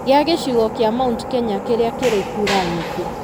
gĩa gĩcigo kĩa Mt Kenya kĩrĩa kĩrĩ kura nyingĩ.